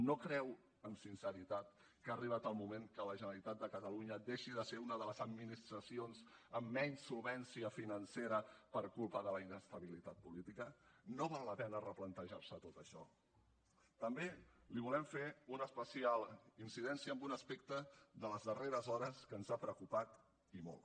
no creu amb sinceritat que ha arribat el moment que la generalitat de catalunya deixi de ser una de les administracions amb menys solvència financera per culpa de la inestabilitat política no val la pena replantejar se tot això també li volem fer una especial incidència en un aspecte de les darreres hores que ens ha preocupat i molt